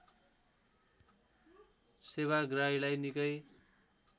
सेवाग्राहीलाई निकै